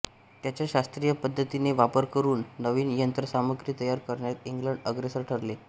त्याचा शास्त्रीय पद्धतीने वापर करून नवीन यंत्रसामग्री तयार करण्यात इंग्लंड अग्रेसर ठरले